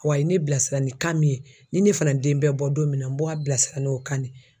Wa a ye ne bilasira ni kan min ye ni ne fana den bɛ bɔ don min na n bɔ a bilasira n'o kan de ye.